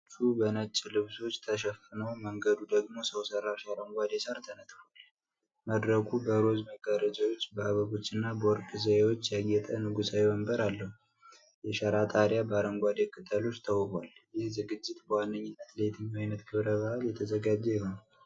ወንበሮቹ በነጭ ልብሶች ተሸፍነው፣ መንገዱ ደግሞ ሰው ሠራሽ አረንጓዴ ሳር ተነጥፏል። መድረኩ በሮዝ መጋረጃዎች፣ በአበቦችና በወርቅ ዘዬዎች ያጌጠ ንጉሣዊ ወንበር አለው፤ የሸራ ጣሪያ በአረንጓዴ ቅጠሎች ተውቧል። ይህ ዝግጅት በዋነኛነት ለየትኛው ዓይነት ክብረ በዓል ተዘጋጀ ይሆን?